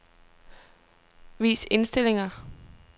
Vis indstillinger.